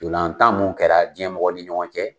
Ntolantan mun kɛra jiɲɛ mɔgɔ ni ɲɔgɔn cɛ